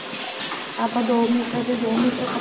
ਆਪਾਂ ਦੋ ਮੀਟਰ ਦੇ ਦੋ ਮੀਟਰ ਕੱਪੜੇ ਚੋਂ